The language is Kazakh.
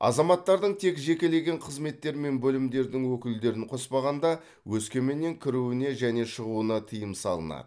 азаматтардың тек жекелеген қызметтер мен бөлімдердің өкілдерін қоспағанда өскеменнен кіруіне және шығуына тыйым салынады